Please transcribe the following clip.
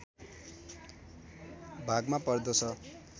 भागमा पर्दछ